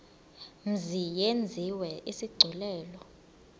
mzi yenziwe isigculelo